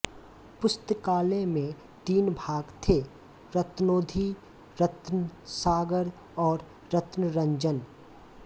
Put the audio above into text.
पुस्तकालय में तीन भाग थे रत्नोधि रत्नसागर और रत्नरंजम